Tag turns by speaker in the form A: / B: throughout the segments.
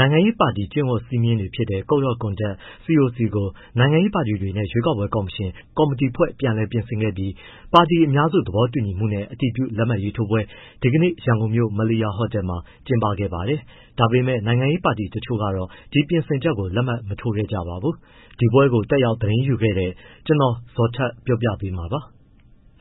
A: နိုင်ငံရေးပါတီ ကျင့်ဝတ်စည်းမျဉ်းတွေ Code of Conduct - CoC ကို နိုင်ငံရေးပါတီတွေနဲ့ ရွေးကောက်ပွဲကော်မရှင် ကော်မတီဖွဲ့ ပြန်လည်ပြင်ဆင်ခဲ့ပြီး ပါတီအများစုသဘောတူညီမှုနဲ့ အတည်ပြုလက်မှတ်ရေးထိုးပွဲ ဒီကနေ့ ရန်ကုန်မြို့ Melia ဟိုတယ်မှာ ကျင်းပခဲ့ပါတယ်။ ဒါပေမဲ့ နိုင်ငံရေးပါတီတချို့ကတော့ ဒီ ပြင်ဆင်ချက်ကို လက်မှတ်မထိုးခဲ့ကြပါဘူး။ ဒီပွဲကို တတ်ရောက်သတင်းယူခဲ့တဲ့ ဗွီအိုအေမြန်မာပိုင်းသတင်းထောက် ကိုဇော်ထက် ပြောပြပါမယ်။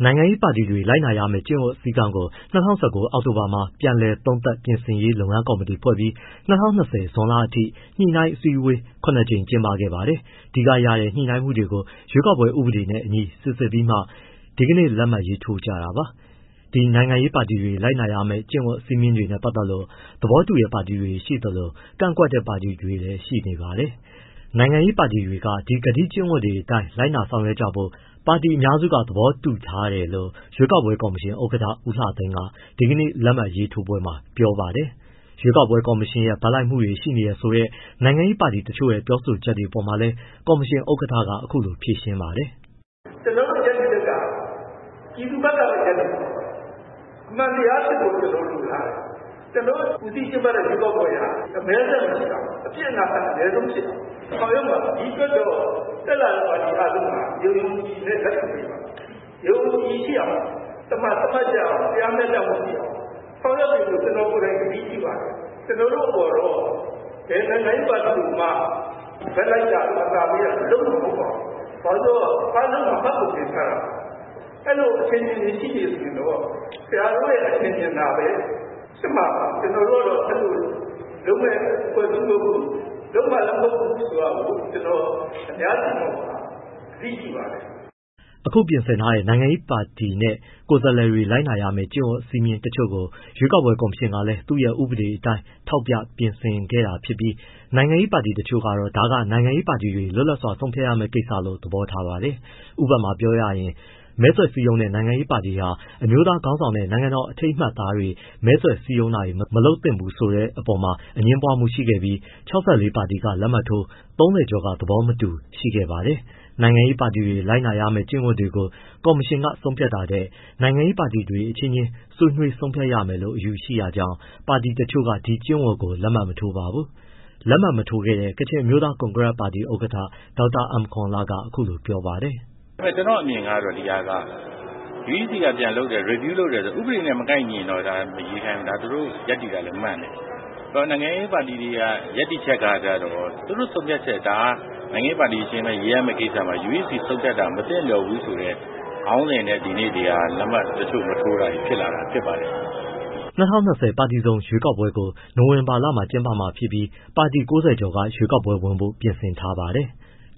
A: နိုင်ငံရေးပါတီတွေ လိုက်နာရမယ့် ကျင့်ဝတ်စည်းကမ်းကို ၂၀၁၉ အောက်တိုဘာမှာ ပြန်လည်သုံးသပ်ပြင်ဆင်ရေး လုပ်ငန်းကော်မတီဖွဲ့ပြီး ၂၀၂၀ ဇွန်လအထိ ညှိနှိုင်းအစည်းအဝေး ၇ ကြိမ်ကျင်းပခဲ့ပါတယ်။ ဒီကရတဲ့ ညှိနှိုင်းမှုတွေကို ရွေးကောက်ပွဲဥပဒေနဲ့အညီ စိစစ်ပြီးမှ ဒီကနေ့ လက်မှတ်ရေးထိုးကြတာပါ။ ဒီနိုင်ငံရေးပါတီတွေ လိုက်နာရမယ့် ကျင့်ဝတ်စည်းမျဉ်းတွေနဲ့ ပတ်သက်လို့ သဘောတူတဲ့ ပါတီတွေရှိသလို ကန့်ကွက်တဲ့ပါတီတွေလည်း ရှိနေပါတယ်။ နိုင်ငံရေးပါတီတွေက ဒီဂတိကဝတ်တွေအတိုင်း လိုက်နာ ဆောင်ရွက်ကြဖို့ ပါတီအများစုက သဘောတူထားတယ်လို့ ရွေးကောက်ပွဲကော်မရှင် ဥက္ကဋ္ဌ ဦးလှသိန်းက ဒီကနေ့ လက်မှတ်ထိုးပွဲမှာ ပြောပါတယ်။ ရွေးကောက်ပွဲကော်မရှင်ရဲ့ ဘက်လိုက်မှုတွေ ရှိနေတယ်ဆိုတဲ့ နိုင်ငံရေးပါတီတချို့ရဲ့ ပြောဆိုချက်တွေအပေါ်မှာလည်း ကော်မရှင် ဥက္ကဋ္ဌက အခုလို ဖြေရှင်းပါတယ်။
B: “ကျနော်တို့ ရပ်တည်ချက်က ပြည်သူဘက်ကပဲ ရပ်တည်မှာပါ။ အမှန်တရားဖြစ်ဖို့ ကျနော်တို့ လိုလားတယ်၊ ကျနော်တို့ ဦးစီးကျင်းပတဲ့ ရွေးကောက်ပွဲက အမည်းစက် မရှိရဘူး၊ အပြစ်အနာအဆာ အနည်းဆုံးဖြစ်အောင် ဆောင်ရွက်မှာပါ။ ဒီအတွက်တော့ တက်လာတဲ့ ပါတီအားလုံးက ယုံယုံကြည်ကြည်နဲ့ လက်ခံပေးပါ။ ယုံယုံကြည်ကြည်ရှိအောင် သမာသမတ်ရှိအောင်၊ တရားမျှတမှုရှိအောင် ဆောင်ရွက်ပေးဖို့ ကျနော်ကိုယ်တိုင် ကတိပြုပါတယ်။ ကျနော်တို့ ဘယ်နိုင်ငံရေးပါတီကိုမှ ဘက်လိုက်တာ၊ အသာပေးတာ လုပ်မှာ မဟုတ်ပါဘူး။ အားလုံးက မှတ်ပုံတင်ထားတာပါ၊ အဲဒီလို အထင်အမြင်တွေ ရှိနေရင်တော့ ဆရာတို့ရဲ့ အထင်အမြင်သာပဲ ဖြစ်မှာပါ။ ကျနော်တို့ကတော့ အဲဒီလို လုပ်မယ့် အဖွဲ့အစည်းမျိုး မဟုတ်ဘူး။ လုပ်မှာလည်း မဟုတ်ဘူးဆိုတာ ကျနော် အများရှေ့မှောက်မှာ ဂတိပြုပါတယ်
A: ။” အခုပြင်ဆင်ထားတဲ့ နိုင်ငံရေးပါတီနဲ့ ကိုယ်စားလှယ်တွေ လိုက်နာရမယ့် ကျင့်ဝတ်စည်းမျဉ်းတချို့ကို ရွေးကောက်ပွဲကော်မရှင်ကလည်း သူ့ရဲ့ ဥပဒေအတိုင်း ထောက်ပြပြင်ဆင်ခဲ့တာဖြစ်ပြီး၊ နိုင်ငံရေးပါတီတချို့ကတော့ ဒါကနိုင်ငံရေးပါတီတွေ လွတ်လပ်စွာ ဆုံးဖြတ်ရမဲ့ကိစ္စလို့ သဘောထားပါတယ်။ ဥပမာပြောရရင် မဲဆွယ်စည်းရုံးတဲ့ နိုင်ငံရေးပါတီဟာ အမျိုးသားခေါင်းဆောင်နဲ့ နိုင်ငံတော်အမှတ်အသားတွေနဲ့ မဲဆွယ်စည်းရုံးတာတွေ မလုပ်သင့်ဘူးဆိုတာမှာ အငြင်းပွားမှုရှိပြီး ၆၄ ပါတီက လက်မှတ်ထိုး၊ ၃၀ ကျော်က သဘောမတူရှိခဲ့ပါတယ်။ နိုင်ငံရေးပါတီတွေ လိုက်နာရမယ့် ကျင့်ဝတ်တွေကို ကော်မရှင်က ဆုံးဖြတ်တာထက်၊ နိုင်ငံရေးပါတီတွေ အချင်းချင်း ဆွေးနွေးဆုံးဖြတ်ရမယ်လို့ အယူရှိတာကြောင့်လည်း ပါတီတချို့က ဒီကျင့်ဝတ်ကို လက်မှတ်မထိုးပါဘူး။ လက်မှတ်မထိုးခဲ့တဲ့ ကချင်အမျိုးသား ကွန်ဂရက်ပါတီ ဥက္ကဋ္ဌ ဒေါက်တာ အမ်ကောန်လက အခုလိုပြောပါတယ်။
C: “ဒါပေမဲ့ ကျနော့်အမြင်က UEC က review တယ်၊ ဆိုတော့ ဥပဒေနဲ့ မကိုက်ညီရင်တော့ ဒါ မရွေးခိုင်းဘူး၊ သူတို့ရပ်တည်တာလည်း မှန်တယ်၊ နိုင်ငံရေးပါတီတွေရဲ့ ရပ်တည်ချက်ကတော့ သူတို့ဆုံးဖြတ်ချက် ဒါ နိုင်ငံရေး ပါတီတွေ အချင်းချင်း ရေးရမဲ့ကိစ္စမှာ UEC ဆုံးဖြတ်တာ မသင့်လျော်ဘူးဆိုတဲ့ ခေါင်းစဉ်နဲ့ ဒီနေ့ ဒီဟာ တချို့လက်မှတ်မထိုးတာတွေ ဖြစ်လာတာ ဖြစ်ပါတယ်။” ၂
A: ၀၂၀ ပါတီစုံရွေးကောက်ပွဲကို နိုဝင်ဘာလမှာ ကျင်းပမှာဖြစ်ပြီး ပါတီ ၉၀ ကျော်က ရွေးကောက်ပွဲဝင်ဖို့ ပြင်ဆင်ထားကြပါတယ်။